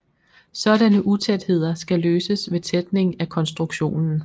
Sådanne utætheder skal løses ved tætning af konstruktionen